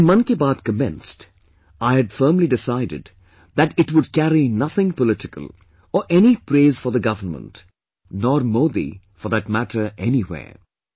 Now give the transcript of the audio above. When 'Mann Ki Baat' commenced, I had firmly decided that it would carry nothing political, or any praise for the Government, nor Modi for that matter anywhere